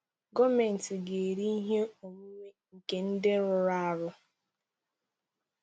Gọọmenti ga-ere ihe onwunwe nke ndị rụrụ arụ.